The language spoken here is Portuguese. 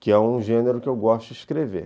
que é um gênero que eu gosto de escrever.